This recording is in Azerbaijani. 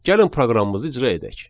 Gəlin proqramımızı icra edək.